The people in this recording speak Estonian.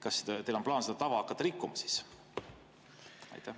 Kas teil on plaan seda tava hakata rikkuma?